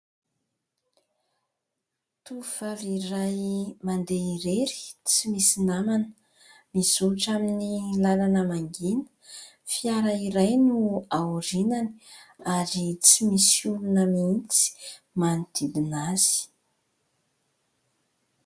Tovovavy iray mandeha irery, tsy misy namana. Mizotra amin'ny làlana mangina, fiara iray no ao aoriany ary tsy misy olona mihitsy manodidina azy.